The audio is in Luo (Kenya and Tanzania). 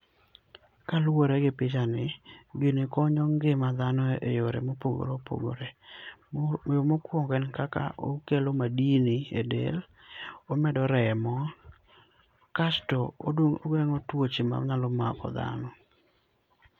Ka luore gi picha ni gini konyo ngima dhano e yore ma opogore opogore yo mokwongo en kaka okelo madini e del, omedo remo ksto ogengo tuoche ma nyalo mako dhano